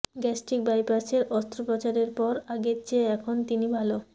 gastric বাইপাসের অস্ত্রোপচারের পর আগের চেয়ে এখন তিনি ভালো